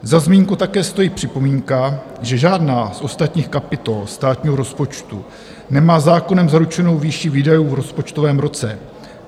Za zmínku také stojí připomínka, že žádná z ostatních kapitol státního rozpočtu nemá zákonem zaručenou výši výdajů v rozpočtovém roce.